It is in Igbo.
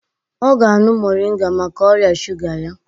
Ọ ga-añụ moringa maka ọrịa shuga ya.